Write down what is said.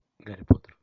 гарри поттер